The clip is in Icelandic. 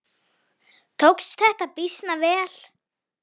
Tókst þetta býsna vel.